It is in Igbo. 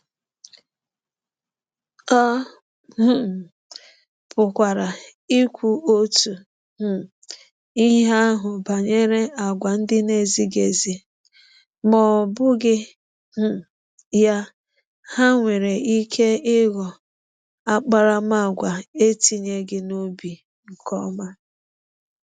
A um pụkwara ikwu otu um ihe ahụ banyere àgwà ndị na-ezighị ezi. Ma ọ bụghị um ya, ha nwere ike ịghọ akparamaagwa etinyeghị n’obi nke ọma.